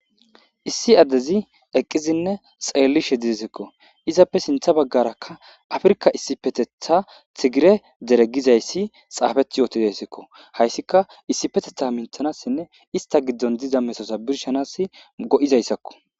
Issi addezi eqqizinne xeellishe didesekko izappe sintha baggarakka afrka issipetetha thigire deregizayssi xaafeth yooti dessekko hayssika issipetetha minthanassinne ista giddon diza mesosa birshanas go7izayssakko.